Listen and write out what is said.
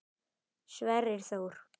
Sverrir Þór.